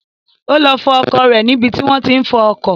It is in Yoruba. Ó lọ fọ ọkọ̀ rẹ̀ ní ibi tí wọ́n tí ń fọ ọkọ̀